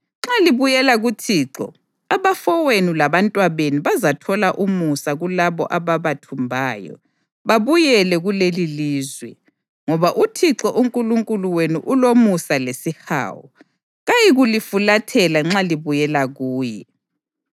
Nxa libuyela kuThixo, abafowenu labantwabenu bazathola umusa kulabo ababathumbayo, babuye kulelilizwe, ngoba uThixo uNkulunkulu wenu ulomusa lesihawu. Kayikulifulathela nxa libuyela kuye.”